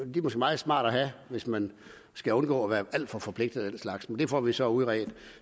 måske meget smarte at have hvis man skal undgå at være alt for forpligtet eller den slags men det får vi så udredt